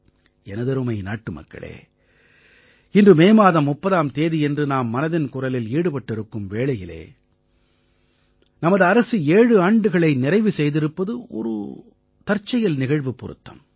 எனதருமை நாட்டுமக்களே இன்று மே மாதம் 30ஆம் தேதியன்று நாம் மனதின் குரலில் ஈடுபட்டிருக்கும் வேளையில் நமது அரசு 7 ஆண்டுகளை நிறைவு செய்திருப்பது ஒரு தற்செயல் நிகழ்வுப் பொருத்தம்